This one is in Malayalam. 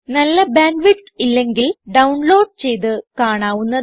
നല്ല ബാൻഡ് വിഡ്ത്ത് ഇല്ലെങ്കിൽ ഡൌൺലോഡ് ചെയ്ത് കാണാവുന്നതാണ്